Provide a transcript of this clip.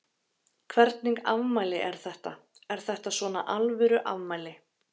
Hvernig afmæli er þetta, er þetta svona alvöru afmæli?